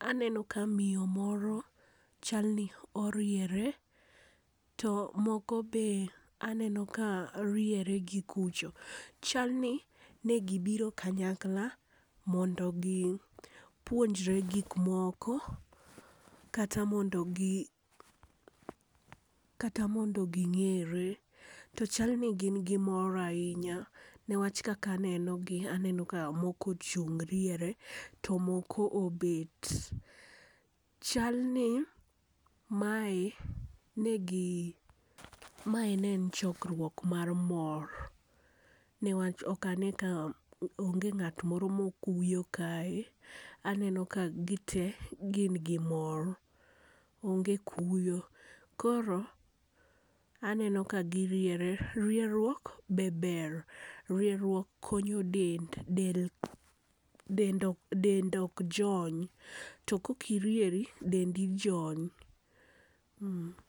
aneno ka miyo moro chal ni oriere to moko be aneno ka riere gi kucha. Chalni ne gibiro kanyakla mondo gipuonjre gik moko kata mondo kata mondo gi kata mondo gi ng'ere to chal ni gin gi mor ahinya newach kaka anenogi aneno ka moko ochung' riere to moko obet. Chal ni mae negi mae ne en chokruok mar mor newach ok ane ka onge ng'at moro ma okuyo kae. Aneno ka gite gin gi mor, onge kuyo. Koro aneno ka giriere, rieruok be ber, rieruok konyo del, del ok jony to ka ok irieri dendi jony.